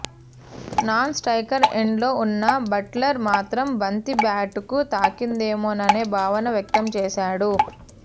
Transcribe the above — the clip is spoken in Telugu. నాన్స్ట్రకర్ ఎండ్లో ఉన్న బట్లర్ మాత్రం బంతి బ్యాట్కు తాకిందమోననే భావన వ్యక్తం చేశాడు